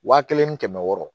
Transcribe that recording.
Wa kelen ni kɛmɛ wɔɔrɔ